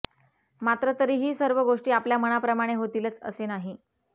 मात्र तरीही सर्व गोष्टी आपल्या मनाप्रमाणे होतीलच असे नाही